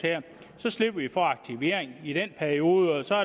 slipper de for aktivering i den periode og så